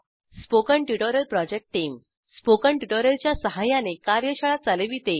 spoken tutorial project team spoken tutorial च्या सहाय्याने कार्यशाळा चालविते